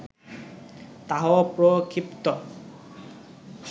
তাহাও প্রক্ষিপ্ত